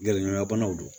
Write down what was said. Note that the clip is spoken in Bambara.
Gɛrɛɲɔgɔnna banaw do